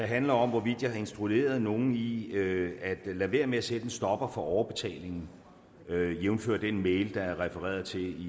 handler om hvorvidt jeg har instrueret nogen i at lade være med at sætte en stopper for overbetalingen jævnfør den mail fra foråret der er refereret til